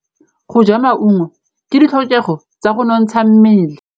Go ja maungo ke ditlhokegô tsa go nontsha mmele.